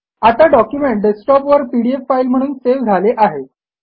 आता document desktop वर PDF file म्हणून सेव्ह झाले आहे